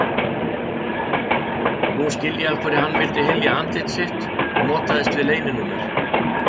Nú skil ég af hverju hann vildi hylja andlit sitt og notaðist við leyninúmer.